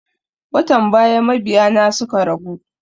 Watan baya mabiya na suka ragu